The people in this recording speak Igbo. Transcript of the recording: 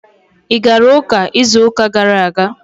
Ị gara ụka izu ụka gara aga?